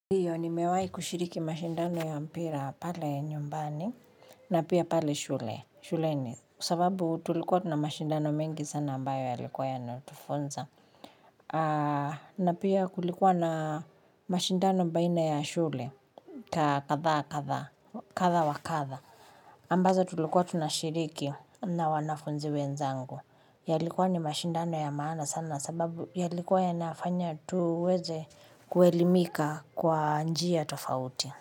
Ndiyo nimewahi kushiriki mashindano ya mpira pale nyumbani, na pia pale shule shuleni. Kwasababu tulikuwa tunamashindano mengi sana ambayo yaliyokuwa yanatufonza. Na pia kulikuwa na mashindano baina ya shule ka kadhaa kadha, kadha wa kadha. Ambazo tulilokua tunashiriki, na wanafunzi wenzangu. Yalikua ni mashindano ya maana sana sababu yalikua yanafanya tuweze kuelimika kwa njia tofauti.